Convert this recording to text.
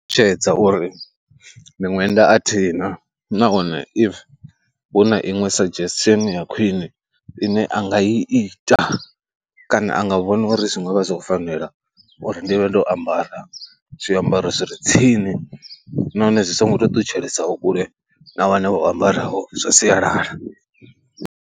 Ṱalutshedza uri miṅwenda a thi na nahone if hu na iṅwe suggestion ya khwine ine a nga i ita kana a nga vhona uri zwi nga vha zwo fanela uri ndi vhe ndo ambara zwiambaro zwi re tsini nahone zwi songo tea u ṱutshelesaho kule na vhane vho ambaraho zwa sialala.